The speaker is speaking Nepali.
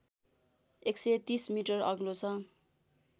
१३० मिटर अग्लो छ